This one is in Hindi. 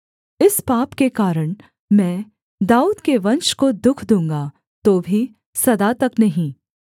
इस पाप के कारण मैं दाऊद के वंश को दुःख दूँगा तो भी सदा तक नहीं